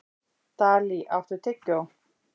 Dalí, áttu tyggjó?